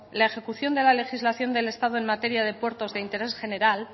la ejecución de la legislación del estado en materia de puertos de interés general